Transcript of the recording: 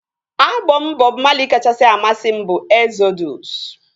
Abọm Bọb Mali kachasị amasị m bụ Ezodụs